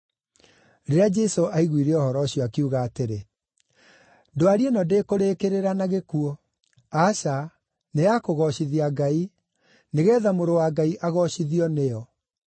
Rĩrĩa Jesũ aiguire ũhoro ũcio, akiuga atĩrĩ, “Ndwari ĩno ndĩkũrĩĩkĩrĩra na gĩkuũ. Aca, nĩ ya kũgoocithia Ngai, nĩgeetha Mũrũ wa Ngai agoocithio nĩyo.”